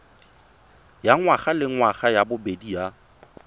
ya ngwagalengwaga ya bobedi ya